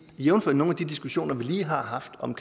jævnfør nogle af de diskussioner vi lige har haft om